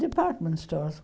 Department stores.